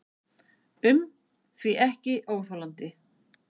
um því ekki óþolandi.